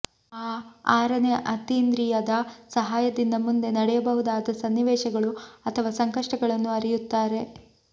ಆ ಆರನೇ ಅತೀಂದ್ರಿಯದ ಸಹಾಯದಿಂದ ಮುಂದೆ ನಡೆಯಬಹುದಾದ ಸನ್ನಿವೇಶಗಳು ಅಥವಾ ಸಂಕಷ್ಟಗಳನ್ನು ಅರಿಯುತ್ತಾರೆ